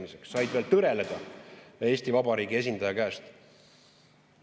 Need riigid said veel tõreleda Eesti Vabariigi esindaja käest.